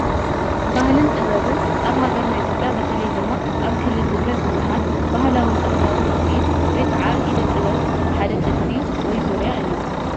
ባህልን ጥበብን፡- ኣብ ሃገርና ኢትዮጵያ ብተለይ ድማ ኣብ ክልል ትግራይ ብዙሓት ባህላውን ጥበባውን ውፅኢት ወይ ከዓ ኢደ -ጥበብ ሓደ ጥልፊ/ ዙርያ እዩ፡፡